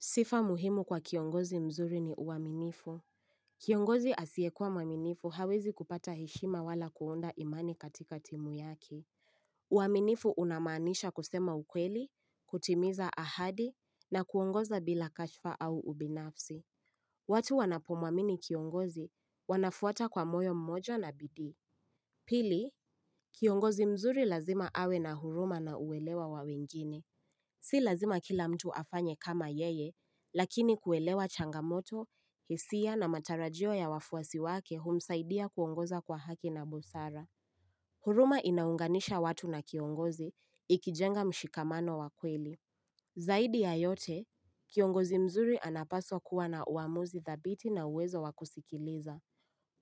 Sifa muhimu kwa kiongozi mzuri ni uaminifu. Kiongozi asiyekua mwaminifu hawezi kupata heshima wala kuunda imani katika timu yake. Uaminifu unamanisha kusema ukweli, kutimiza ahadi, na kuongoza bila kashfa au ubinafsi. Watu wanapomwamini kiongozi wanafuata kwa moyo mmoja na bidii. Pili, kiongozi mzuri lazima awe na huruma na uwelewa wa wengine. Si lazima kila mtu afanye kama yeye, lakini kuelewa changamoto, hisia na matarajio ya wafuasi wake humsaidia kuongoza kwa haki na busara. Huruma inaunganisha watu na kiongozi ikijenga mshikamano wa kweli. Zaidi ya yote, kiongozi mzuri anapaswa kuwa na uamuzi thabiti na uwezo wakusikiliza.